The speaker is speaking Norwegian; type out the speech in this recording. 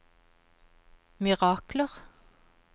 mirakler